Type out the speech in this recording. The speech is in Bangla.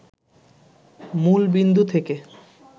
মূলবিন্দু থেকে